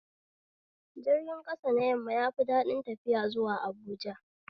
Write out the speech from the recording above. Jirga ƙasa na yamma yafi daɗin tafiya zuwa Habuja